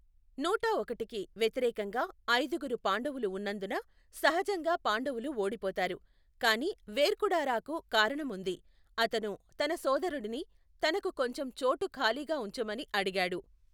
నూటఒకటికి వ్యతిరేకంగా ఐదుగురు పాండవులు ఉన్నందున సహజంగా పాండవులు ఓడిపోతారు, కాని వెర్కుడారాకు కారణం ఉంది, అతను తన సోదరుడిని తనకు కొంచెం చోటు ఖాళీగా ఉంచమని అడిగాడు.